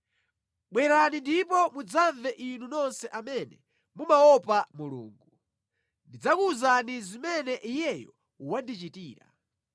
Bwerani ndipo mudzamve inu nonse amene mumaopa Mulungu. Ndidzakuwuzani zimene Iyeyo wandichitira.